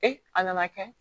a nana kɛ